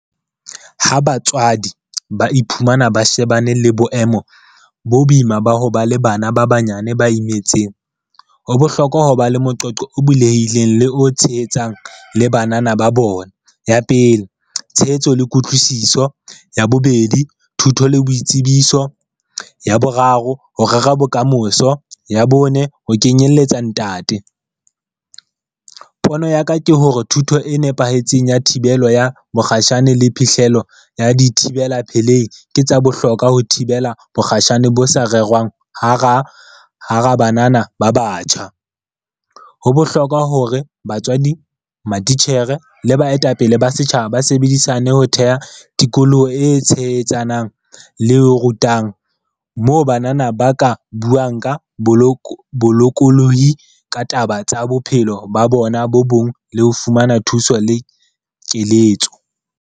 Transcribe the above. Ha batswadi ba iphumana ba shebane le boemo bo boima ba ho ba le bana ba banyane ba imetseng. Ho bohlokwa ho ba le moqoqo o bulehileng le o tshehetsang le banana ba bona. Ya pele, tshehetso le kutlwisiso. Ya bobedi, thuto le boitsebiso. Ya boraro, ho rera bokamoso. Ya bone, ho kenyelletsa ntate. Pono ya ka ke hore thuto e nepahetseng ya thibelo ya mokgatjhane le phihlelo ya dithibela pelehi, ke tsa bohlokwa ho thibela bokgatjhane bo sa rerwang, hara hara banana ba batjha. Ho bohlokwa hore batswadi, matitjhere, le baetapele ba setjhaba ba sebedisane ho theha tikoloho e tshehetsanang le e rutang moo banana ba ka buang ka bolokolohi ka taba tsa bophelo ba bona bo bong le ho fumana thuso le keletso.